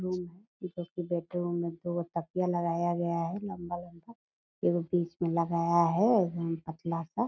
दो तकिया लगाया गया है लंबा-लंबा एगो बीच मे लगाया गया है एकदम पतला सा --